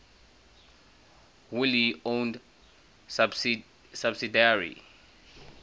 wholly owned subsidiary